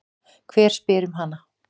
Hver spyr um hana?